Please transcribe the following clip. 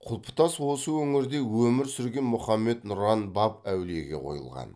құлпытас осы өңірде өмір сүрген мұхаммед нұран баб әулиеге қойылған